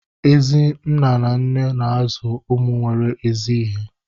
Ezi nna na nne na-azụ ụmụ nwere ezi ihe